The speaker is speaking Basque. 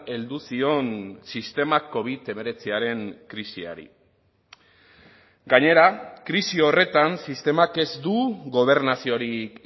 heldu zion sistema covid hemeretziaren krisiari gainera krisi horretan sistemak ez du gobernaziorik